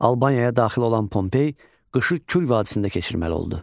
Albaniyaya daxil olan Pompey qışı Kür vadisində keçirməli oldu.